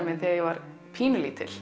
minn þegar ég var pínulítil